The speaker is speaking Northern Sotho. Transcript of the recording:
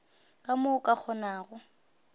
ka mo o ka kgonago